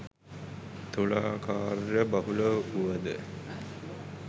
තුලා කාර්යබහුල වුවද